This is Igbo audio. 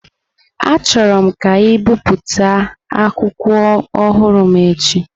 Achọrọm ka e bipụta akwụkwọ ọhụrụ m n'echi!